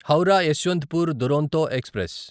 Howrah Yesvantpur Duronto express